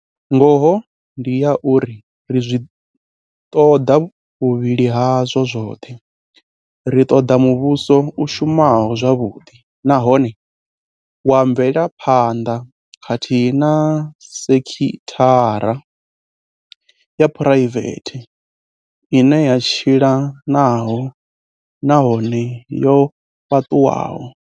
Ngoho ndi ya uri ri a zwi ṱoḓa vhuvhili hazwo zwoṱhe. Ri ṱoḓa muvhuso u shumaho zwavhuḓi nahone wa mvelaphanḓa khathihi na sekithara ya phuraivethe ine ya tshila nahone yo fhaṱuwaho.